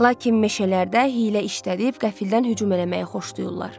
Lakin meşələrdə hiylə işlədib qəfildən hücum eləməyi xoşlayırlar.